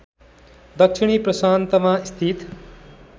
दक्षिणी प्रशान्तमा स्थित